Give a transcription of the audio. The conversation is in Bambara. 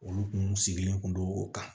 Olu kun sigilen kun don o kan